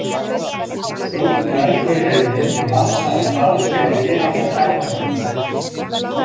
Brúnn dvergur hefur minni massa en þarf til að viðhalda kjarnahvörfum.